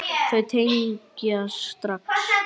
Þau tengja strax.